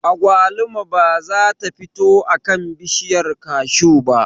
Agwaluma ba za ta fito a kan bishiyar kashu ba